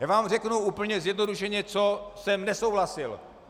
Já vám řeknu úplně zjednodušeně, co jsem nesouhlasil.